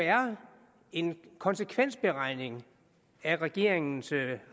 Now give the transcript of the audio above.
en konsekvensberegning af regeringens